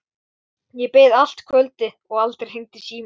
Ég beið allt kvöldið og aldrei hringdi síminn.